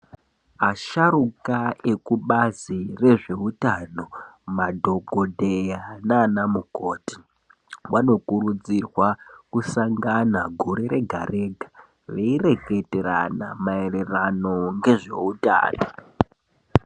Asharuka ekubazi rezveutano, madhokodheya naanamukoti, vanokurudzirwa kusangana gore rega-rega ,veireketerana maererano ngezveutano.